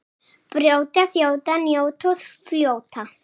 Brjóta, þjóta, njóta og fljóta.